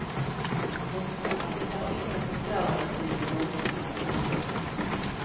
Postverket har ingen förklaring till den långsamma postgången.